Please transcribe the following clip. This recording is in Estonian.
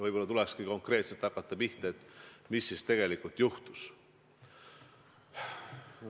Võib-olla tulekski hakata pihta konkreetselt sellest, mis siis tegelikult juhtus.